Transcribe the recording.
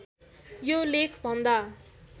यो लेख भन्दा